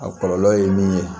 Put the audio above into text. A kɔlɔlɔ ye min ye